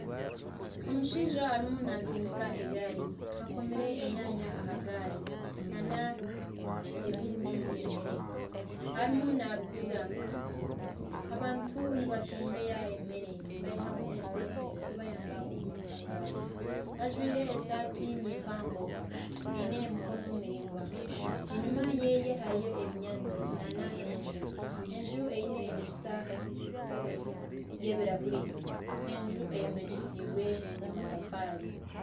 Omushaija arimu natsindika egaari akoomire enyanya aha gaari nana ebindi nka emere arimu nabiguza, abantu nibatebeeya emere baihamu esente ezikubayamba omu maka gaabo, ajwaire esaati ni mpango eine emikono miraingwa enyuma yeeye hariyo ebinyaatsi na n'enju, enju eine ediriisa y'ebirahuuri, enju eyombekyesibwe amatafaari.